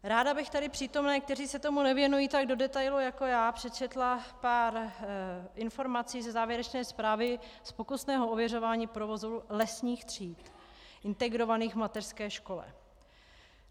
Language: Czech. Ráda bych tady přítomným, kteří se tomu nevěnují tak do detailu jako já, přečetla pár informací ze závěrečné zprávy z pokusného ověřování provozu lesních tříd integrovaných v mateřské škole.